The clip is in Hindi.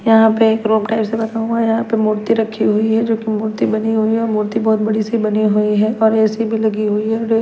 यहां पे एक रोप टाइप से बना हुआ है यहां पे मूर्ति रखी हुई है जो कि मूर्ति बनी हुई है मूर्ति बहुत बड़ी सी बनी हुई है और ऐसी भी लगी हुई है और ये --